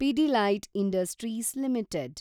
Pidilite industries limited